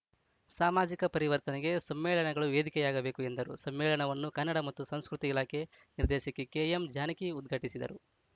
ಸಾಮಾಜಿಕ ಪರಿವರ್ತನೆಗೆ ಸಮ್ಮೇಳನಗಳು ವೇದಿಕೆಯಾಗಬೇಕು ಎಂದರು ಸಮ್ಮೇಳನವನ್ನು ಕನ್ನಡ ಮತ್ತು ಸಂಸ್ಕೃತಿ ಇಲಾಖೆ ನಿರ್ದೇಶಕಿ ಕೆಎಂ ಜಾನಕಿ ಉದ್ಘಾಟಿಸಿದರು